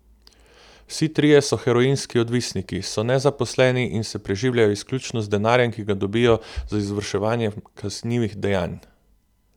Vsi trije so heroinski odvisniki, so nezaposleni in se preživljajo izključno z denarjem, ki ga dobijo z izvrševanjem kaznivih dejanj.